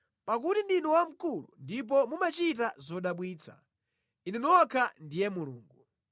Pakuti ndinu wamkulu ndipo mumachita zodabwitsa; Inu nokha ndiye Mulungu.